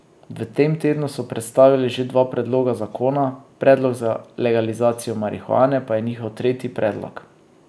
V tem tednu so predstavili že dva predloga zakona, predlog za legalizacijo marihuane pa je njihov tretji predlog.